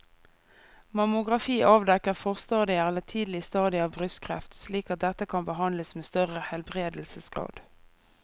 Mammografi avdekker forstadier eller tidlige stadier av brystkreft slik at dette kan behandles med større helbredelsesgrad.